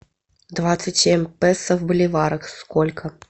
двадцать семь песо в боливарах сколько